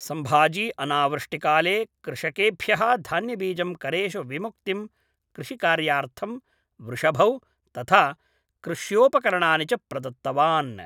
सम्भाजी अनावृष्टिकाले कृषकेभ्यः धान्यबीजं करेषु विमुक्तिं कृषिकार्यार्थं वृषभौ तथा कृष्योपकरणानि च प्रदत्तवान्